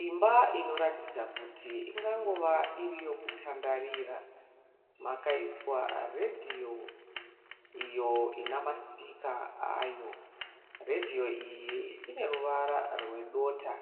Imba inoratidza kuti ingangova iri yokutandarira. Makaiswa redhiyo iyo inamasipika ayo. Redhiyo ine ruvara rwedota.